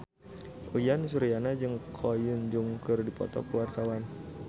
Uyan Suryana jeung Ko Hyun Jung keur dipoto ku wartawan